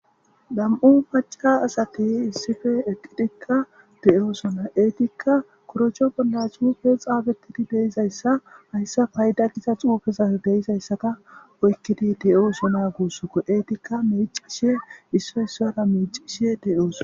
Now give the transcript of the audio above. Nam'u paca asati issife eqqidikka te'oosona eetikka korocho bolla suufe xaabettidi deyizayssa hayssa payda giza xuufeza deizayssata oykkidi te'oosona guussoko eetikka miicishe issoysara meicishe de'oosona.